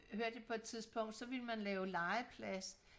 hørte jeg på et tidspunkt så ville man lave legeplads